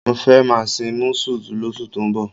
Mo fẹ́ máa sin músù lóṣù tó ń bọ̀.